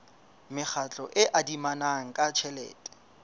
mekgatlo e adimanang ka tjhelete